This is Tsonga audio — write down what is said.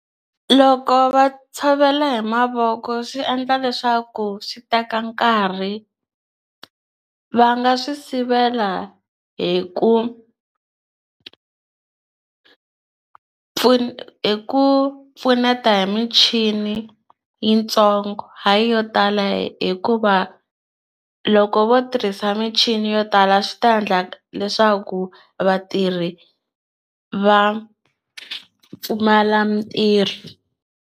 Loko va tshovela hi mavoko swi endla leswaku swi teka nkarhi va nga swi sivela hi ku ku pfuna ku pfuneta hi michini yitsongo hayi yo tala hikuva loko vo tirhisa michini yo tala swi ta endla leswaku vatirhi va pfumala mintirho.